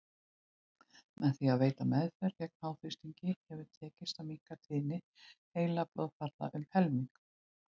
Með því að veita meðferð gegn háþrýstingi hefur tekist að minnka tíðni heilablóðfalla um helming.